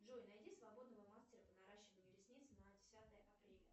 джой найди свободного мастера по наращиванию ресниц на десятое апреля